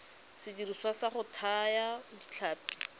sediriswa sa go thaya ditlhapi